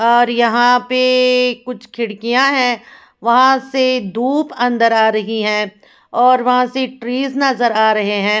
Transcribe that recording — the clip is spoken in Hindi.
और यहाँ पे ए ए ए कुछ खिड़कियाँ हैं वहाँ से धूप अंदर आ रही हैं और वहाँ से ट्रीस नजर आ रहे हैं।